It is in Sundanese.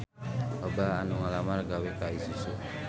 Loba anu ngalamar gawe ka Isuzu